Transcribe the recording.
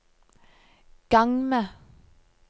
gang med